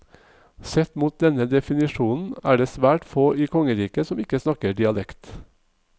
Sett mot denne definisjonen, er det svært få i kongeriket som ikke snakker dialekt.